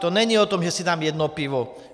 To není o tom, že si dám jedno pivo.